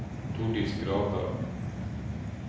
Tordis Gravdal